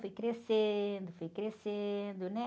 Fui crescendo, fui crescendo, né?